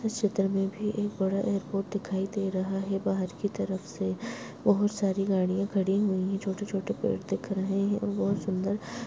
इस चित्र में भी एक बड़ा एयरपोर्ट दिखाई दे रहा है बाहर की तरफ से बहोत सारी गाड़ियाँ खड़ी हुई हैं छोटे छोटे पेड़ दिख रहे हैं वो बहोत सुंदर --